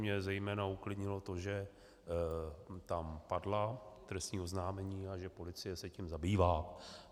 Mě zejména uklidnilo to, že tam padla trestní oznámení a že policie se tím zabývá.